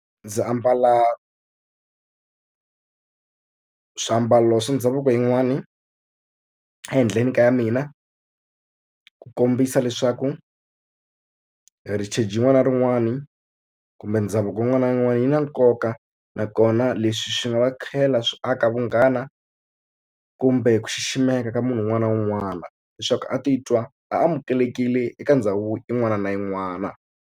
Ndzi ambala swiambalo swa ndhavuko yin'wani ehenhleni ka ya mina ku kombisa leswaku heritage rin'wana na rin'wana kumbe ndhavuko wun'wana na wun'wana yi na nkoka nakona leswi swi nga va tlhela swi aka vunghana kumbe ku xiximeka ka munhu un'wana na un'wana leswaku a titwa a amukelekile eka ndhawu yin'wana na yin'wana.